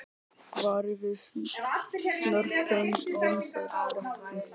Varað við snörpum vindstrengjum